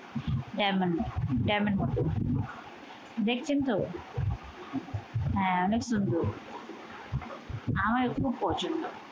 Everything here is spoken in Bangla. টেমন টেমের মত। দেখছেন তো? হ্যাঁ অনেক সুন্দর, আমার খুব পছন্দ।